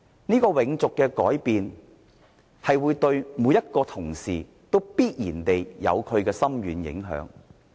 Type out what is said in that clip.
這個永續的改變，對每位同事都必然有深遠的影響。